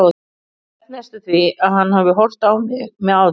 Ég held næstum því að hann hafi horft á mig með aðdáun.